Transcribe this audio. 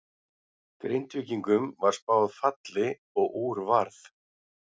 Grindvíkingum var spáð falli og úr varð.